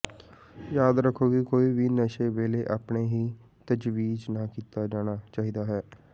ਯਾਦ ਰੱਖੋ ਕਿ ਕੋਈ ਵੀ ਨਸ਼ੇ ਵੇਲੇ ਆਪਣੇ ਹੀ ਤਜਵੀਜ਼ ਨਾ ਕੀਤਾ ਜਾਣਾ ਚਾਹੀਦਾ ਹੈ